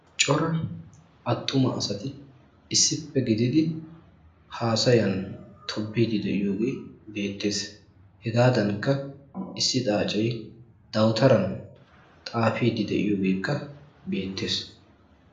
Cora attuma asati issippe gididi haasayan tobbiiddi de"iyoogee beettes. Hegaadankka issi xaacee dawutaran xaafiiddi de"iyoogeekka beettes.